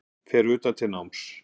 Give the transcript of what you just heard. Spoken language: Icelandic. Fer utan til náms